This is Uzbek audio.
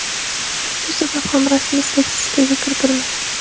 Shu sabab ham rasmiy statistikaga kiritilmagan.